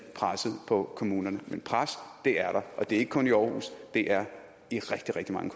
presset på kommunerne men pres er der og det er ikke kun i aarhus det er i rigtig rigtig mange